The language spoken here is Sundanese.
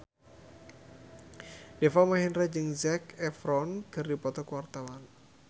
Deva Mahendra jeung Zac Efron keur dipoto ku wartawan